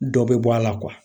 Dɔ bɛ bɔ a la